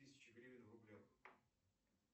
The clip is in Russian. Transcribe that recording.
тысяча гривен в рублях